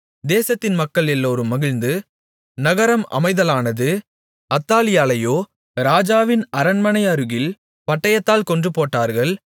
தேசத்தின் மக்கள் எல்லோரும் மகிழ்ந்து நகரம் அமைதலானது அத்தாலியாளையோ ராஜாவின் அரண்மனை அருகில் பட்டயத்தால் கொன்றுபோட்டார்கள்